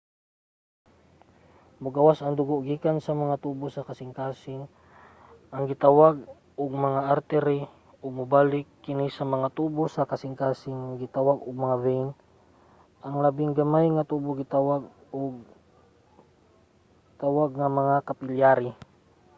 mogawas ang dugo gikan sa mga tubo sa kasingkasing nga gitawag ug mga artery ug mobalik kini sa mga tubo sa kasingkasing nga gitawag og mga vein. ang labing gamay nga tubo gitawag nga mga capillary